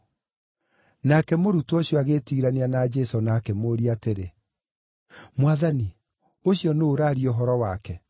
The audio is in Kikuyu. Nake mũrutwo ũcio, agĩĩtiirania na Jesũ na akĩmũũria atĩrĩ, “Mwathani, ũcio nũũ ũraaria ũhoro wake?”